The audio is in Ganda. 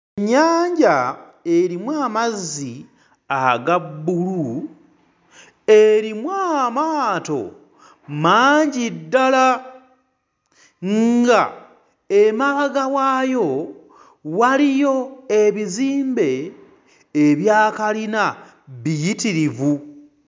Nnyanja erimu amazzi aga bbulu, erimu amaaato mangi ddala ng'emabega waayo waliyo ebizimbe ebyakkalina biyitirivu.